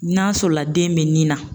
N'a sɔrɔla den bɛ nin na